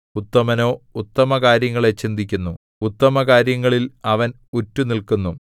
ഉത്തമനോ ഉത്തമകാര്യങ്ങളെ ചിന്തിക്കുന്നു ഉത്തമകാര്യങ്ങളിൽ അവൻ ഉറ്റുനില്ക്കുന്നു